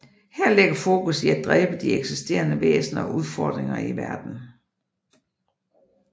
Her ligger fokus i at dræbe de eksisterende væsener og udfordringer i verdenen